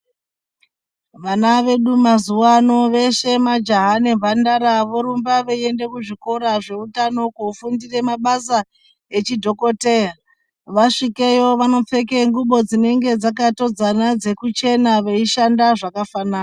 Vana vedu mazuva ano veshe majaha nemhandara vorumba veiende kuzvikora zveutano kofundire mabasa echidhokoteya. Vasvikeyo vanopfeke ngubo dzinenge dzakatodzana dzekuchena veishanda zvakafanana.